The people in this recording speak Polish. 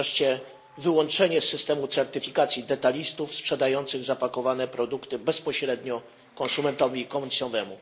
I wreszcie wyłączenie z systemu certyfikacji detalistów sprzedających zapakowane produkty bezpośrednio konsumentowi końcowemu.